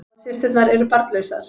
Báðar systurnar eru barnlausar